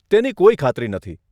તેની કોઈ ખાતરી નથી.